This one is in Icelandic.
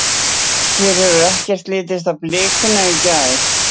Lillý: Þér hefur ekkert litist á blikuna í gær?